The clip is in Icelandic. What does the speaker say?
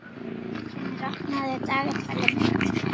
Herfinnur, opnaðu dagatalið mitt.